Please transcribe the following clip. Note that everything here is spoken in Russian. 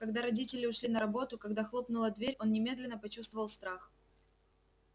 когда родители ушли на работу когда хлопнула дверь он немедленно почувствовал страх